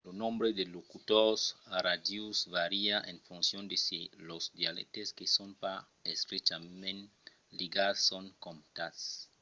lo nombre de locutors nadius vària en foncion de se los dialèctes que son pas estrechament ligats son comptats